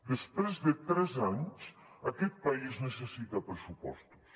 després de tres anys aquest país necessita pressupostos